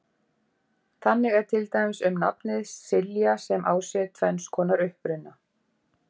þannig er til dæmis um nafnið silja sem á sér tvenns konar uppruna